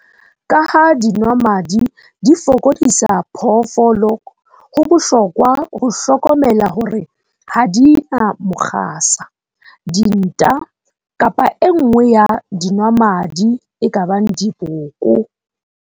Ka ha dinwamadi di fokodisa phoofolo, ho bohlokwa ho hlokomela hore ha di na mokgasa, dinta kapa e nngwe ya dinwamadi e ka bang diboko.